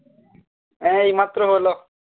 হ্যাঁ এই মাত্র হলো